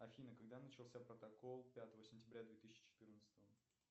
афина когда начался протокол пятого сентября две тысячи четырнадцатого